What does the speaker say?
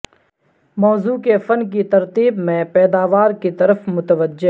موضوع کے فن کی ترتیب میں پیداوار کی طرف متوجہ